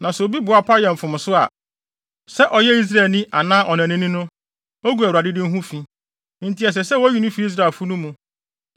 “ ‘Na sɛ obi boa pa yɛ mfomso a, sɛ ɔyɛ Israelni anaa ɔnanani no, ogu Awurade din ho fi, enti ɛsɛ sɛ woyi no fi Israelfo no mu.